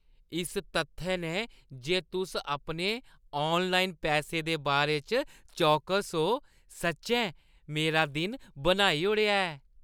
इस तत्थै ने जे तुस अपने ऑनलाइन पैसे दे बारे च चौकस ओ, सच्चैं मेरा दिन बनाई ओड़ेआ ऐ।